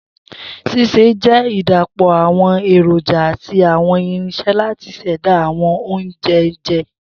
Sise jẹ idapọ awọn eroja ati awọn irinṣẹ lati ṣẹda awọn ounjẹ onjẹ